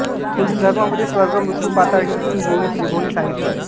हिंदू धर्मामध्ये स्वर्ग मृत्यू पाताळ ही तीन भुवने त्रिभुवने सांगितली आहेत